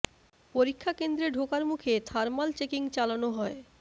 পরীক্ষা কেন্দ্রে ঢোকার মুখে থার্মাল চেকিং চালানো হয়